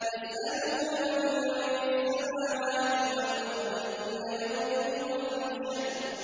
يَسْأَلُهُ مَن فِي السَّمَاوَاتِ وَالْأَرْضِ ۚ كُلَّ يَوْمٍ هُوَ فِي شَأْنٍ